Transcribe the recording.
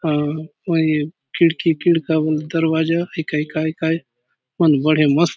हा होई खिड़की खिड़का बले दरवाजा होइ काय काय मन बड़े मस्त --